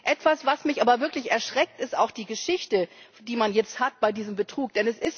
Etwas, was mich aber wirklich erschreckt, ist die Geschichte, die man jetzt bei diesem Betrug hat.